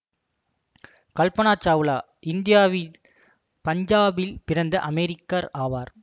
கல்பனா சாவ்லா இந்தியாவின் பஞ்சாபில் பிறந்த அமெரிக்கர் ஆவார்